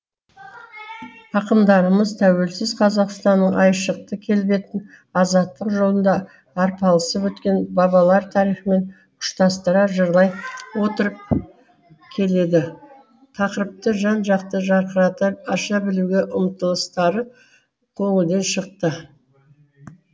ақындарымыз тәуелсіз қазақстанның айшықты келбетін азаттық жолында арпалысып өткен бабалар тарихымен ұштастыра жырлай отырып келелі тақырыпты жан жақты жарқырата аша білуге ұмтылыстары көңілден шықты